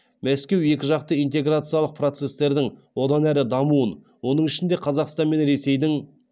мәскеу екіжақты интеграциялық процестердің одан ары дамуын оның ішінде қазақстан мен ресейдің